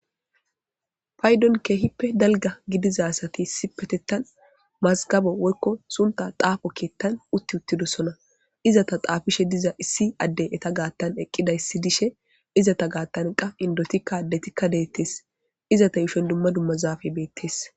paydon keehippe dalga gidizasati sipetettan mazgabo woykko sunta xaafo keettan utti uttidosona izata xaafishe diza issi addey eta gaattan eqqidayissi dishe izata gaattan qa indotikka addetikka deettes izata yushen dumma dumma zaafey beettes